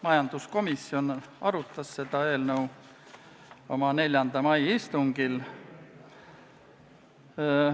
Majanduskomisjon arutas seda eelnõu oma 4. mai istungil.